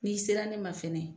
N'i sera ne ma fɛnɛ